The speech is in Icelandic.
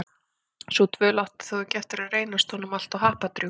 Sú dvöl átti þó ekki eftir að reynast honum alltof happadrjúg.